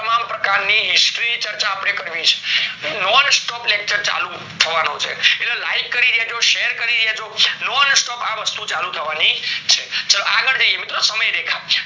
તમામ પ્રકારની history ચર્ચા અપડે કરવી છે non-stop-lecture ચાલુ થવાનો છે એટલે like કરી દેજો share દેજો non-stop આ વસ્તુ ચાલુ થવાની છે ચાલો આગળ જઈએ મિત્રો સમય રેખા